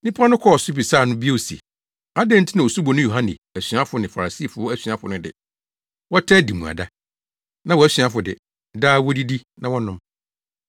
Nnipa no kɔɔ so bisaa no bio se, “Adɛn nti na Osuboni Yohane asuafo ne Farisifo asuafo no de, wɔtaa di mmuada, na wʼasuafo de, daa wodidi na wɔnom?”